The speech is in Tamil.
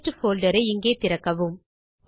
டெஸ்ட் போல்டர் ஐ இங்கே திறக்கவும்